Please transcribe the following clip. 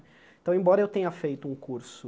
Então, embora eu tenha feito um curso